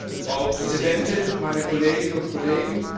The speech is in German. Frau Präsident, meine Kolleginnen und Kollegen!